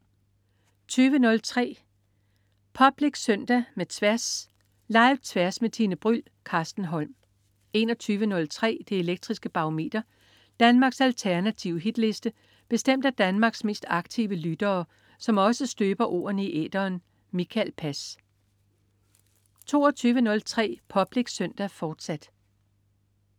20.03 Public Søndag med Tværs. Live-Tværs med Tine Bryld. Carsten Holm 21.03 Det elektriske Barometer. Danmarks alternative hitliste bestemt af Danmarks mest aktive lyttere, som også støber ordene i æteren. Mikael Pass 22.03 Public Søndag, fortsat